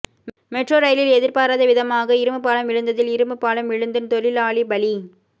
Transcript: metro ரயிலில் எதிர்பாராதவிதமாக இரும்புப் பாலம் விழுந்ததில் இரும்புப் பாலம் விழுந்து தொழிலாளி பலி